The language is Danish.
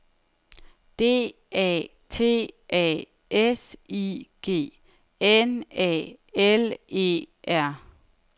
D A T A S I G N A L E R